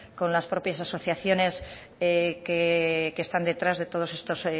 con las propias asociaciones que están detrás de todos estos